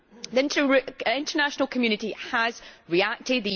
The international community has reacted.